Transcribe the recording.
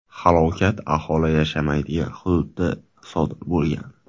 Halokat aholi yashamaydigan hududda sodir bo‘lgan.